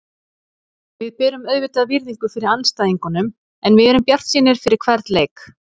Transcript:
Við berum auðvitað virðingu fyrir andstæðingunum en við erum bjartsýnir fyrir hvern leik.